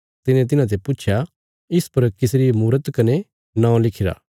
तिने तिन्हाते पुच्छया इस पर किसरी मूरत कने नौं लिखिरा